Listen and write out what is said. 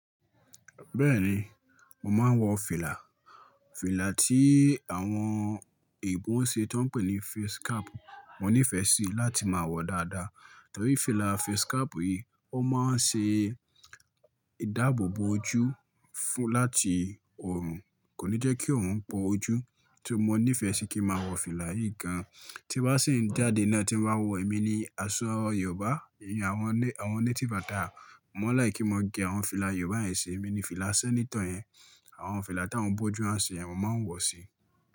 Bẹ́ẹ̀ni, mo máa ń wọ fìlà. Fìlà tí àwọn Ìgbó ń ṣe tóń pè ní face cap, mo nífẹ̀ẹ́ síi láti máa wọ dáadáa. Torí fìlà face cap yìí, ó máa ń ṣe ìdáàbò bo ojú fún láti òòrùn, kò ní jẹ́ kí òòrùn bo ojú. Ti mo nífẹ̀ẹ́ sì kí n maa wọ fìlà yìí gan. Tí n bá sì ń jáde náà tí mo bá wọ, èmi ni aṣọ Yoobá. Ìyẹn àwọn ne, àwọn native attire. Mo máa n like kí n mo gẹ̀ àwọn fìlà Yoobá yẹn ṣe. Èmi ni fìlà senator yẹn, àwọn fìlà táwọn bójú a ń se yen, mo máa ń wọ̀ o síi.